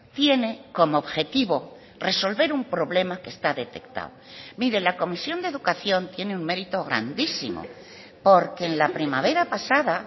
tiene como objetivo resolver un problema que está detectado mire la comisión de educación tiene un mérito grandísimo porque en la primavera pasada